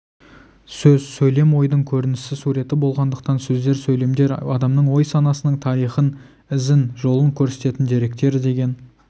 сөз сөйлем ойдың көрінісі суреті болғандықтан сөздер сөйлемдер адамның ой-санасының тарихын ізін жолын көрсететін деректер деген